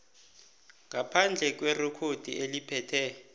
ngaphandle kwerekhodi eliphethe